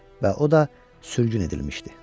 Və o da sürgün edilmişdi.